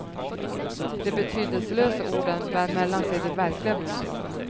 De betydelselösa orden bär mellan sig de verkliga budskapen.